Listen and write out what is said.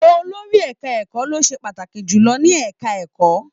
Olórí ẹka ẹ̀kọ́ lo se pàtàkì jùlọ ní ẹka ẹ̀kọ́.